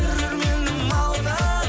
көрерменім алтын